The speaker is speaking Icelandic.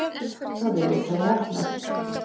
Það virðist hafa heppnað.